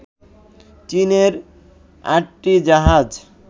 চীনের আটটি জাহাজ